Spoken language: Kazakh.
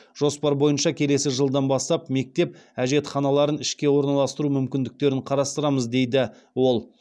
жоспар бойынша келесі жылдан бастап мектеп әжетханаларын ішке ораналастыру мүмкіндіктерін қарастырамыз дейді ол